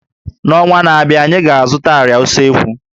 N'ọnwa na-abịa, anyị ga-azụta àrịá usekwu